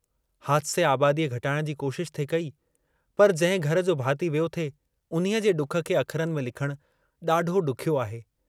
हादिसे आबादीअ घटाइण जी कोशशि थे कई, पर जंहिं घर जो भाती वियो थे, उन्हीअ जे डुख खे अखरन में लिखणु डाढो डुखियो आहे।